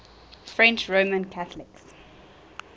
french roman catholics